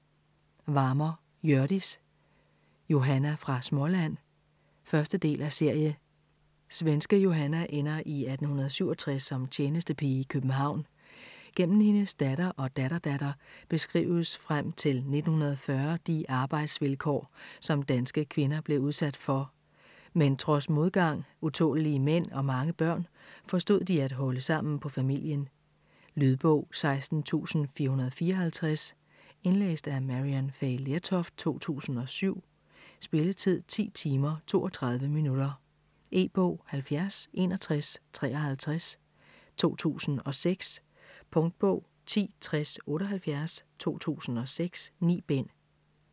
Varmer, Hjørdis: Johanna fra Småland 1. del af serie. Svenske Johanna ender i 1867 som tjenestepige i København. Gennem hendes datter og datterdatter beskrives frem til 1940 de arbejdsvilkår, som danske kvinder blev udsat for. Men trods modgang, utålelige mænd og mange børn forstod de at holde sammen på familien. Lydbog 16454 Indlæst af Maryann Fay Lertoft, 2007. Spilletid: 10 timer, 32 minutter. E-bog 706153 2006. Punktbog 106078 2006. 9 bind.